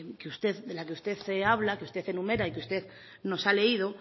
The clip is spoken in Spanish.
de la que usted habla que usted enumera y que usted nos ha leído